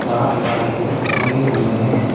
चार लालटेन टंगे हुए है।